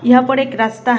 यहां पर एक रास्ता है।